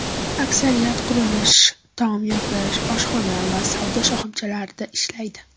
Aksariyati qurilish, tom yopish, oshxona va savdo shoxobchalarida ishlaydi.